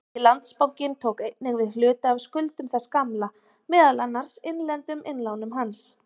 Nýi Landsbankinn tók einnig við hluta af skuldum þess gamla, meðal annars innlendum innlánum hans.